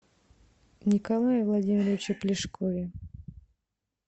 николае владимировиче плешкове